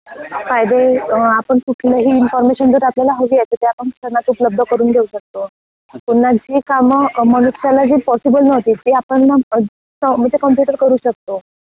कायदे आपण कुठलही इनफार्मेशन जर आपल्याला हवी आहे तर ते आपण त्यांना उपलब्ध करून देऊ शकतो, पुन्हा जे काम जे पॉसिबल नव्हती, ते आपन मग कंप्यूटर करू शकतो.